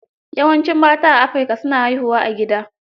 Yawancin mata a Afrika, su na haihuwa a gida.